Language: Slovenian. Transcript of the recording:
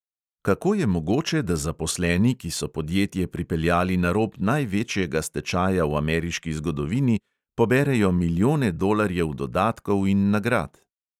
Kako je mogoče, da zaposleni, ki so podjetje pripeljali na rob največjega stečaja v ameriški zgodovini, poberejo milijone dolarjev dodatkov in nagrad?